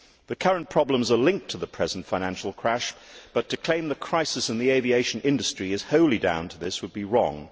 The current problems are linked to the present financial crash, but to claim the crisis in the aviation industry is wholly down to this would be wrong.